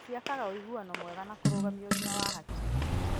Ciakaga ũiguano mwega na kũrũgamia ũgima wa hakiri.